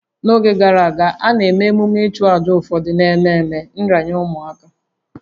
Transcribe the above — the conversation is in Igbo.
N'oge gara aga, a na-emume ichụaja ụfọdụ n'ememe nranye ụmụaka